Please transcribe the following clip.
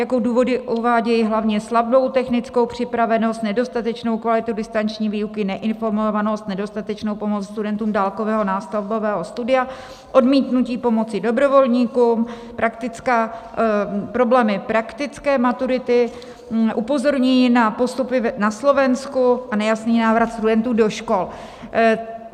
Jako důvody uvádějí hlavně slabou technickou připravenost, nedostatečnou kvalitu distanční výuky, neinformovanost, nedostatečnou pomoc studentům dálkového nástavbového studia, odmítnutí pomoci dobrovolníkům, problémy praktické maturity, upozornění na postupy na Slovensku a nejasný návrat studentů do škol.